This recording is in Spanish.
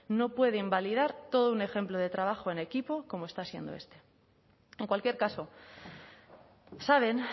no puede invalidar todo un ejemplo de trabajo en equipo como está siendo este en cualquier caso saben